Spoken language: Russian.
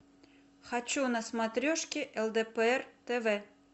хочу на смотрешке лдпр тв